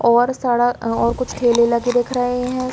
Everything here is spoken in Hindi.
और सड़क और कुछ ठेले लगे दिख रहे है।